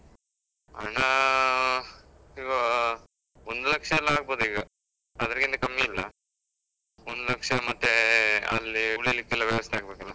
ಹಣಾ ಈಗಾ, ಒಂದ್ ಲಕ್ಷ ಎಲ್ಲ ಆಗ್ಬೋದ್ ಈಗ, ಅದೃಗಿಂತ ಕಮ್ಮಿಇಲ್ಲ. ಒಂದ್ ಲಕ್ಷ ಮತ್ತೇ ಅಲ್ಲೀ ಉಳಿಕ್ಕೆಲ್ಲ ವ್ಯವಸ್ಥೆ ಆಗ್ಬೇಕಲ್ಲ.